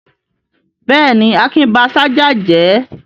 Bẹ́ẹ̀ ni, Akin ba ṣájà jẹ́.